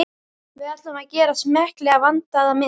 Við ætlum að gera smekklega, vandaða mynd.